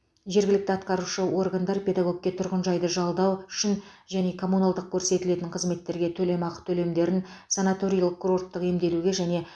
жергілікті атқарушы органдар педагогке тұрғынжайды жалдау үшін және коммуналдық көрсетілетін қызметтерге төлемақы төлемдерін санаторийлік курорттық емделуге және